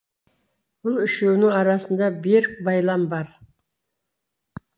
бұл үшеуінің арасында берік байлам бар